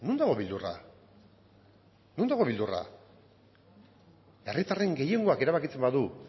non dago beldurra herritarren gehiengoak erabakitzen badu